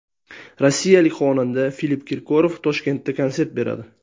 Rossiyalik xonanda Filipp Kirkorov Toshkentda konsert beradi.